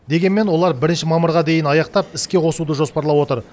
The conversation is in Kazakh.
дегенмен олар бірінші мамырға дейін аяқтап іске қосуды жоспарлап отыр